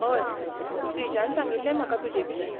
हय, श्रीजान सांगिल्लें म्हाका तुजेविशीं.